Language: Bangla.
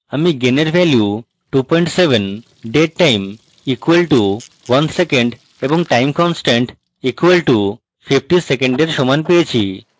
আমি gain এর value 27 dead time equal to 1 seconds এবং time constant equal to 50 সেকেন্ডের সমান পেয়েছি